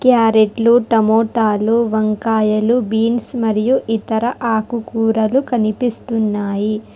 క్యారెట్లు టమోటాలు వంకాయలు బీన్స్ మరియు ఇతర ఆకుకూరలు కనిపిస్తున్నాయి.